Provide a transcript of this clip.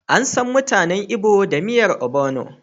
Ansan mutanen Igbo da miyar ogbono.